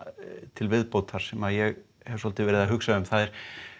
til viðbótar sem ég hef svolítið verið að hugsa um það er